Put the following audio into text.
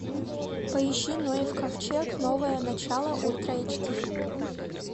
поищи ноев ковчег новое начало ультра эйч ди